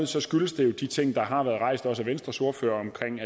så skyldes det jo de ting der har været rejst også af venstres ordfører omkring